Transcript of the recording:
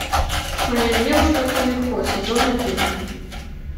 моя девушка кумихо сезон один